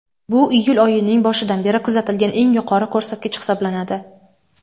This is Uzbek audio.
Bu iyul oyining boshidan beri kuzatilgan eng yuqori ko‘rsatkich hisoblanadi.